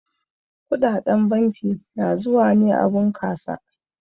Kuɗaɗen banki na zuwa ne a bunkasa.